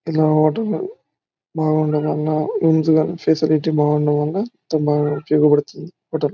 ఇదొక హోటలు . బాగుండటం వల్ల ఫెసిలిటీ బాగుండటం వల్ల అంతా బాగా ఉపయోగ పడుతుంది హోటల్ .